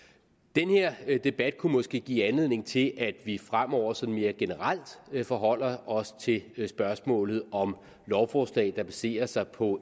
den her debat kunne måske give anledning til at vi fremover sådan mere generelt forholder os til spørgsmålet om lovforslag der baserer sig på